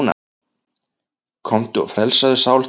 Komdu og frelsaðu sál þína.